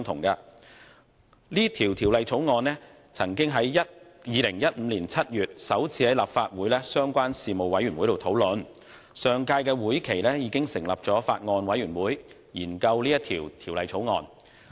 該《條例草案》曾於2015年7月首次在立法會的相關事務委員會會議上討論，而相關的法案委員會亦已在上屆會期成立。